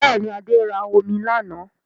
Bẹ́ẹ̀ni, Adé ra omi lánàá